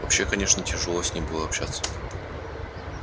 вообще конечно тяжело с ним было общаться